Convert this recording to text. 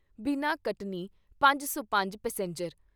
ਬਿਨਾ ਕਟਨੀ 505 ਪੈਸੇਂਜਰ